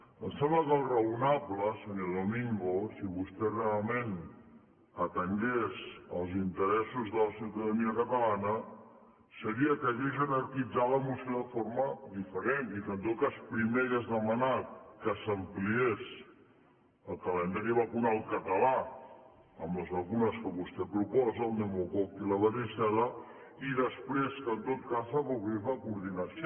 em sembla que allò raonable senyor domingo si vostè realment atengués els interessos de la ciutadania catalana seria que hagués jerarquitzat la moció de forma diferent i que en tot cas primer hagués demanat que s’ampliés el calendari vacunal català amb les vacunes que vostè proposa el pneumococ i la varicel·la i després que en tot cas s’afavorís la coordinació